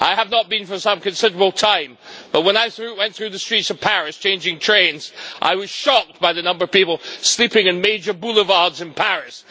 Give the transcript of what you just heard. I had not been there for some considerable time but, when I went through the streets of Paris changing trains, I was shocked by the number of people sleeping in major boulevards in Paris.